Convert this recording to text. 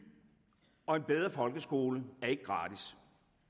og bedre folkeskole er ikke gratis